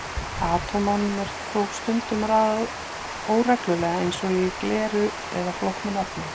Atómunum er þó stundum raðað óreglulega eins og í gleri eða flóknari efnum.